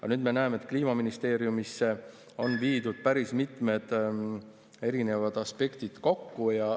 Aga nüüd me näeme, et kliimaministeeriumisse on viidud päris mitmed erinevad aspektid kokku.